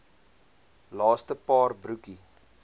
laaste paar broekie